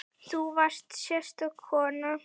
Þú varst sérstök kona.